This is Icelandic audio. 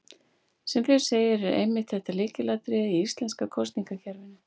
Sem fyrr segir er einmitt þetta lykilatriði í íslenska kosningakerfinu.